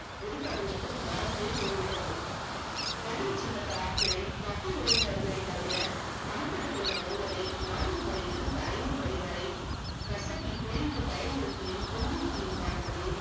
முருகானந்தத்திற்கு மறந்தே போய்விட்டது கனவு சின்னத் ஆட்களை தப்பி ஓடினவர்களை தவிர அகப்பட்டுக் கொண்ட ஒருவரை நான்கு மணியிலிருந்து மணி வரை கசக்கிப் பிழிந்து பயமுறுத்தியும் துன்புறுத்தியும் பார்த்ததில்